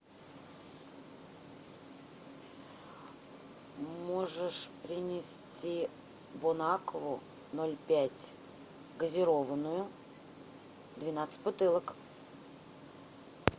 можешь принести бонакву ноль пять газированную двенадцать бутылок